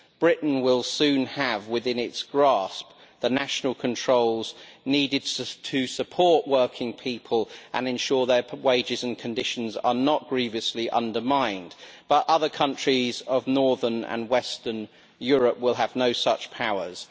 Britain will soon have within its grasp the national controls needed to support working people and ensure their wages and conditions are not grievously undermined, but other countries of northern and Western Europe will have no such powers.